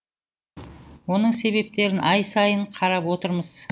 оның себептерін ай сайын қарап отырмыз